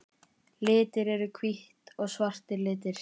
Litir Eru hvítt og svart litir?